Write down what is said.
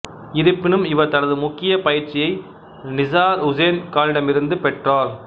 இருப்பினும் இவர் தனது முக்கிய பயிற்சியை நிசார் உசேன் கானிடமிருந்து பெற்றார்